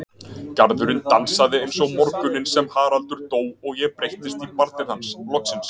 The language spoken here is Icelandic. Garðurinn dansaði eins og morguninn sem Haraldur dó og ég breyttist í barnið hans, loksins.